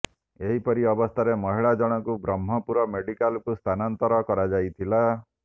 ଏହିପରି ଅବସ୍ଥାରେ ମହିଳା ଜଣଙ୍କୁ ବ୍ରହ୍ମପୁର ମେଡିକାଲକୁ ସ୍ଥାନାନ୍ତର କରାଯାଇଥିଲା